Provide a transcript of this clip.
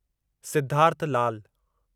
Siddharth Lal